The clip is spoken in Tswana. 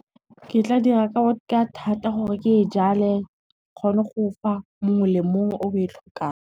Ke tla dira ka thata gore ke e jale, kgone go fa mongwe le mongwe o e tlhokang.